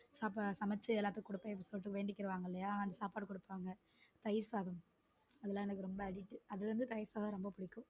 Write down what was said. அப்போ சமைச்சு எல்லாத்துக்கும் வேண்டிக்குவாங்க இல்லையா அந்த சாப்பாடு கொடுப்பாங்க தயிர் சாதம் அதெல்லாம் எனக்கு ரொம்ப addict அது வந்து தயிர் சாதம் ரொம்ப. பிடிக்கும்